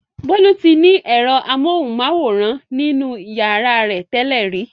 Bolu ti ní èrọ amóhùmáwòhán nínú ìyàrá rẹ̀ tẹ́lẹ̀ rí.